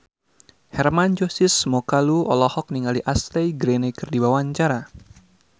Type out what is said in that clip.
Hermann Josis Mokalu olohok ningali Ashley Greene keur diwawancara